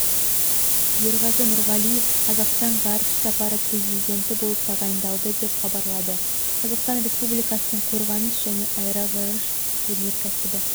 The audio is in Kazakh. ерғазы нұрғалиев қазақстан ғарыш сапары президенті болып тағайындалды деп хабарлады қазақстан республикасының қорғаныс және аэроғарыш өнеркәсібі